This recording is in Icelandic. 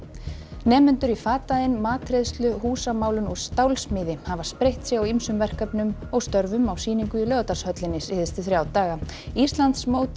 nemendur í fataiðn matreiðslu húsamálun og stálsmíði hafa spreytt sig á ýmsum verkefnum og störfum á sýningu í Laugardalshöllinni síðustu þrjá daga Íslandsmót í